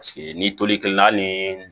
Paseke ni tolikɛla ni